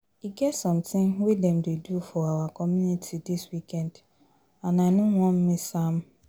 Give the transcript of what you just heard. E get something wey dem dey do for our community dis weekend and I no wan miss am